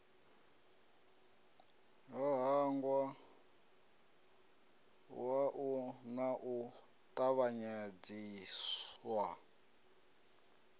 ho ṱangaṋwa na u tavhanyedziswa